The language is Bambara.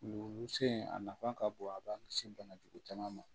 Wuluwusu in a nafa ka bon a b'a la se bana jugu caman ma